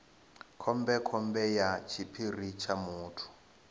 khombekhombe ya tshiphiri tsha muthu